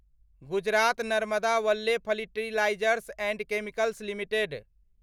Gujarat Narmada valley fertilizers and chemicals limited.